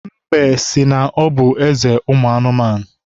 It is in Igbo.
Mbe si na ọ bụ eze ụmụ anụmanụ.